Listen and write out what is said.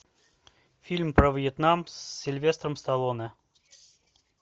фильм про вьетнам с сильвестром сталлоне